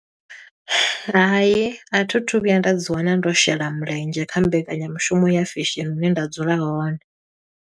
Hai, a thi thu vhuya nda dzi wana ndo shela mulenzhe kha mbekanyamushumo ya fesheni, hune nda dzula hone.